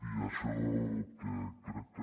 i això crec que